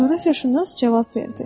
Coğrafiyaşünas cavab verdi.